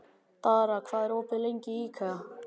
Dara, hvað er opið lengi í IKEA?